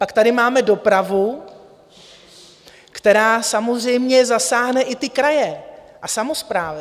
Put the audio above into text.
Pak tady máme dopravu, která samozřejmě zasáhne i ty kraje a samosprávy.